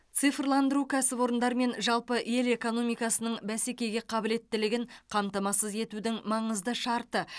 цифрландыру кәсіпорындар мен жалпы ел экономикасының бәсекеге қабілеттілігін қамтамасыз етудің маңызды шарты